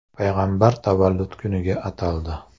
payg‘ambar tavallud kuniga ataldi.